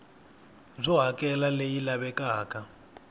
byo hakela r leyi lavekaka